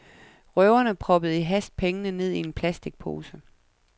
Røverne proppede i hast pengene ned i en plasticpose.